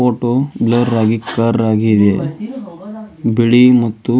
photo blur ಆಗಿ ಕರ್ ಆಗಿ ಇದೆ ಬಿಳಿ ಮತ್ತು